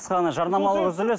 қысқа ғана жарнамалық үзіліс